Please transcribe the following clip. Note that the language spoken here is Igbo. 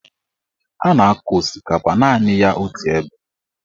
A na-akọ osikapa naanị ya otu ebe.